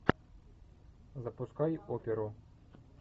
запускай оперу